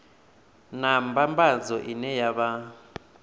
na mbambadzo ine ya vha